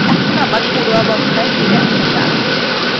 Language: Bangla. এখন আবার পূর্বাবস্থায় ফিরে আসা যাক